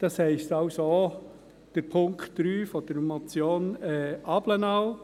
Das heisst also auch Punkt 3 der Motion Abplanalp.